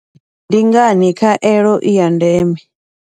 Ndi ngani khaelo i ya ndeme.